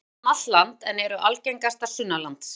Þær lifa um allt land en eru algengastar sunnanlands.